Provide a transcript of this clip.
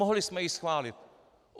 Mohli jsme ji schválit.